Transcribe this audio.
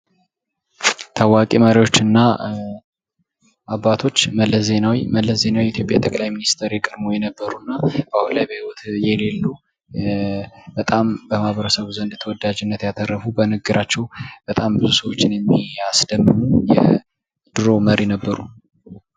ታዋቂ መሪዎችና አባቶች መለስ ዜናዊ መለስ ዜናዊ የኢትዮጵያ ጠቅላይ ሚኒስቴር የቀድሞ የነበሩ እና አሁን ላይ በህይወት የሌሉ በጣም በማህበረሰቡ ዘንድ ተወዳጅነት ያተረፉ በንግግራቸው በጣም ብዙ ሰዎች ያስደመሙ የድሮ መሪ ነበሩ።